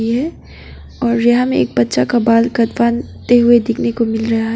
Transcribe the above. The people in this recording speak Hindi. और यहाँ मे एक बच्चा का बाल कटवाते हुए देखने को मिल रहा है।